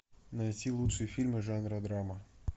найти лучшие фильмы жанра драма